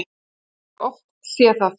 Ég hef oft séð það.